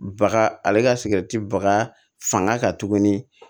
Baga ale ka baga fanga kan tuguni